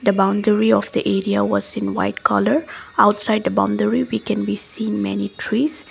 the boundary of the area was in white colour outside a boundary we can be seen many trees.